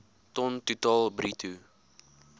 ton totaal bruto